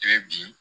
E bi